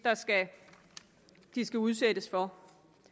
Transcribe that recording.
de skal udsættes for